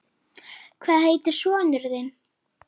Er það allt og sumt?